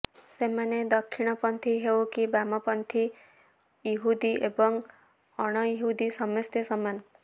ସେମାନେ ଦକ୍ଷିଣ ପନ୍ଥୀ ହେଉ କି ବାମ ପନ୍ଥୀ ଇହୁଦୀ ଏବଂ ଅଣଇହୁଦୀ ସମସ୍ତେ ସମାନ